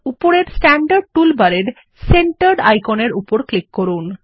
উপরের স্ট্যান্ডার্ড টুলবারের সেন্টার্ড আইকনের উপর ক্লিক করুন